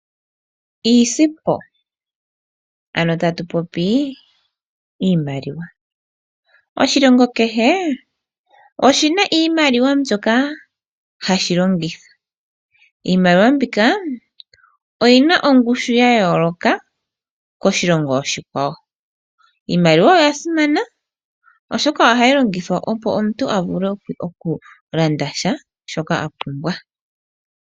Iisimpo, ano tatu popi iimaliwa. Oshilongo kehe oshi na iimaliwa mbyoka ha shi longitha, iimaliwa mbyoka oyi na ongushu ya yooloka koshilongo oshikwawo. Iimaliwa oya simana, oshoka oha yi longithwa opo omuntu avule oku landa shavshoka apumwa.